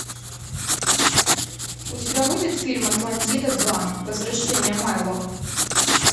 у тебя будет фильм атлантида два возвращение майло